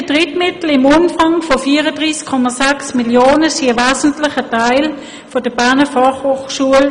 Die generierten Drittmittel im Umfang von 34,6 Mio. Franken stammen zu einem wesentlichen Teil aus den Forschungszentren der Berner Fachhochschule.